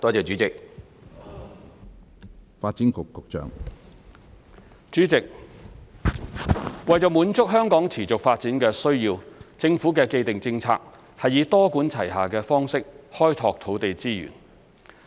主席，為滿足香港持續發展的需要，政府的既定政策是以多管齊下的方式開拓土地資源。